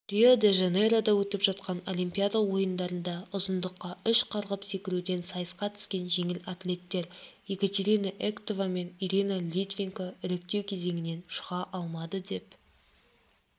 рио-де-жанейрода өтіп жатқан олимпиада ойындарында ұзындыққа үш қарғып секіруден сайысқа түскен жеңіл атлеттер екатеринаэктова мен ириналитвиненко іріктеу кезеңінінен шыға алмады деп